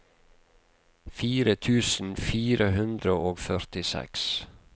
fire tusen fire hundre og førtiseks